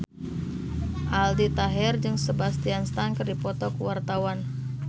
Aldi Taher jeung Sebastian Stan keur dipoto ku wartawan